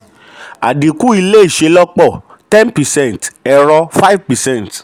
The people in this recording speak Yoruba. àdínkù ilé ìṣelọ́pọ̀ ten percent ẹ̀rọ five percent